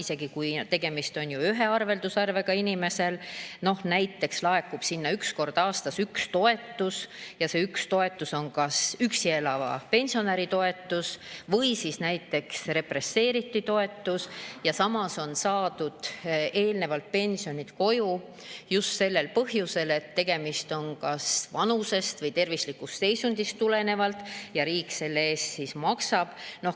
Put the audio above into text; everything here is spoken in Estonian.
Inimesel võib olla üks arveldusarve, kuhu näiteks laekub üks kord aastas üks toetus ja see toetus on kas üksi elava pensionäri toetus või näiteks represseeritu toetus, samas on toodud eelnevalt pension koju just kas vanusest või tervislikust seisundist tuleneval põhjusel ja riik selle eest maksab.